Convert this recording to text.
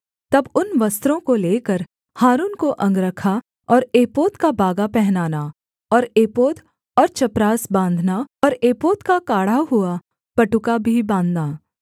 तब उन वस्त्रों को लेकर हारून को अंगरखा और एपोद का बागा पहनाना और एपोद और चपरास बाँधना और एपोद का काढ़ा हुआ पटुका भी बाँधना